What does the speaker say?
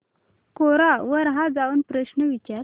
कोरा वर जाऊन हा प्रश्न विचार